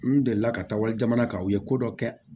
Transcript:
N delila ka taa wali jamana kan u ye ko dɔ kɛ